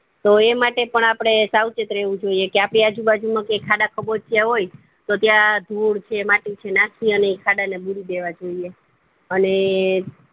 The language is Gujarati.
તો એ માટે પણ આપડે સાવચેત રહેવું જોઈએ કે આપડી આજુ બાજુ માં કે ખાડા ખાબોચિયા હોપ્ય તો ત્યાં ધૂળ છે માટી છે નાખી અને એ ખાડા ને બુરી દેવા જોઈએ અને